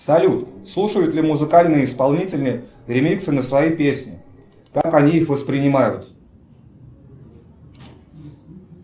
салют слушают ли музыкальные исполнители ремиксы на свои песни как они их воспринимают